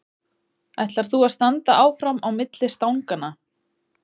Ætlar þú að standa áfram á milli stanganna?